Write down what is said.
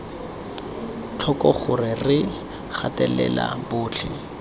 tlhoko gore re gatelela botlhe